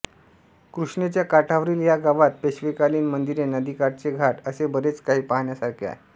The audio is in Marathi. कृष्णेच्या काठावरील या गावात पेशवेकालीन मंदिरे नदीकाठचे घाट असे बरेच काही पाहण्यासारखे आहे